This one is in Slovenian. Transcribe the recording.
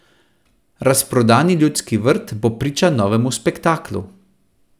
Razprodani Ljudski vrt bo priča novemu spektaklu.